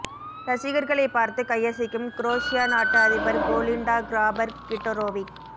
ரசிகர்களை பார்த்து கையசைக்கும் குரோஷியா நாட்டு அதிபர் கோலிண்டா கிராபர் கிட்டரோவிக்